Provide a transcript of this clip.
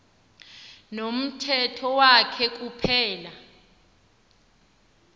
nomthetho wakhe kuphela